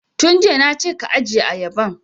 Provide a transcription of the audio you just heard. Tun jiya na ce ka ajiye ayaban!